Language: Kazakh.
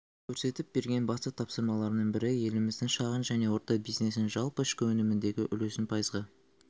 көрсетіп берген басты тапсырмаларының бірі еліміздің шағын және орта бизнесінің жалпы ішкі өніміндегі үлесін пайызға